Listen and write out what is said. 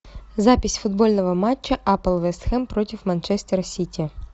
запись футбольного матча апл вест хэм против манчестера сити